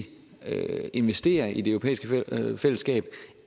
investere i det europæiske fællesskab